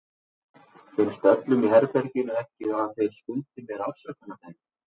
Finnst öllum í herberginu ekki að þeir skuldi mér afsökunarbeiðni?